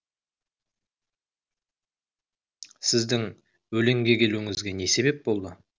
сіздің өлеңге келуіңізге не себеп болды